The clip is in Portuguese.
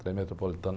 Trem Metropolitano.